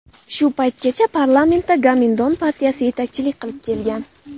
Shu paytgacha parlamentda Gomindan partiyasi yetakchilik qilib kelgan.